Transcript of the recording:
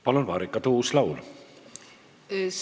Palun, Marika Tuus-Laul!